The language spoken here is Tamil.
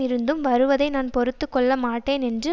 இருந்தும் வருவதை நான் பொறுத்து கொள்ள மாட்டேன் என்று